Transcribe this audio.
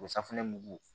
O safunɛ mugu